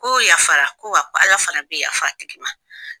Ko yafara ko wa ko Ala fana bɛ yafa o tigi ma